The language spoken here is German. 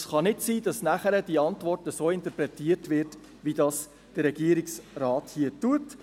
Es kann nicht sein, dass die Antwort nachher so interpretiert wird, wie es der Regierungsrat hier tut.